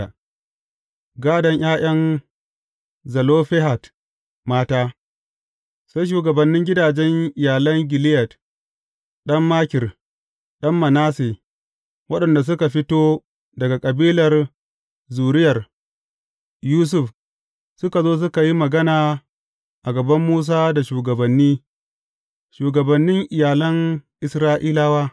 Gādon ’ya’yan Zelofehad mata Sai shugabannin gidajen iyalan Gileyad ɗan Makir, ɗan Manasse, waɗanda suka fito daga kabilar zuriyar Yusuf, suka zo, suka yi magana a gaban Musa da shugabanni, shugabannin iyalan Isra’ilawa.